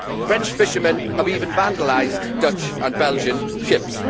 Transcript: French fishermen have even vandalised Dutch and Belgian ships.